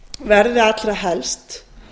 verði allra helst